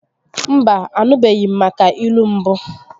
Mba, anụbeghi m maka ilu mbụ